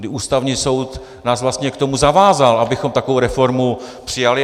Kdy Ústavní soud nás vlastně k tomu zavázal, abychom takovou reformu přijali.